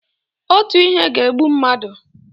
otu ihe ga-egbu mmadu